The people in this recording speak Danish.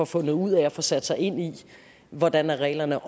fundet ud af at få sat sig ind i hvordan reglerne